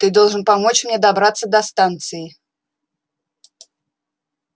ты должен помочь мне добраться до станции